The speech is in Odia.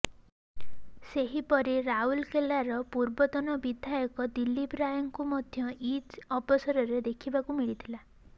ସେହିପରି ରାଉରକେଲାର ପୂର୍ବତନ ବିଧାୟକ ଦିଲ୍ଲୀପ ରାୟଙ୍କୁ ମଧ୍ୟ ଇଦ୍ ଅବସରରେ ଦେଖିବାକୁ ମିଳିଥିଲା